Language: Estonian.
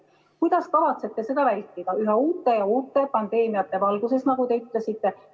Kuidas kavatsete seda vältida üha uute ja uute pandeemiate valguses, nagu te ütlesite?